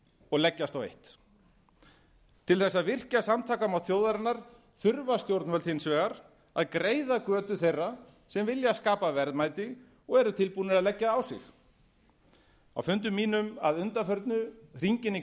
og leggjast á eitt til þess að virkja samtakamátt þjóðarinnar þurfa stjórnvöld hins vegar að greiða götu þeirra sem vilja skapa verðmæti og eru tilbúin að leggja á sig á fundum mínum að undanförnu hringinn í